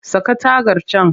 Saka tagar can!